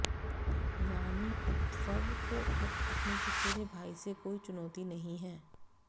यानी उद्धव को अब अपने चचेरे भाई से कोई चुनौती नहीं है